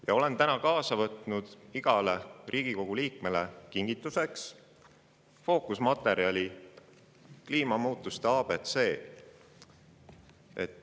olen täna iga Riigikogu liikme jaoks võtnud kaasa kingituseks fookusmaterjali "Kliimamuutuste ABC".